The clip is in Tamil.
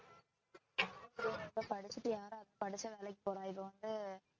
இது வந்து